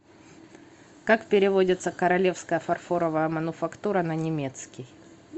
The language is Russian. как переводится королевская фарфоровая мануфактура на немецкий